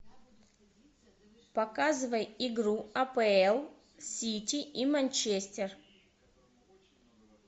показывай игру апл сити и манчестер